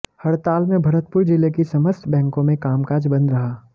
हड़ताल में भरतपुर जिले की समस्त बैंको में कामकाज बंद रहा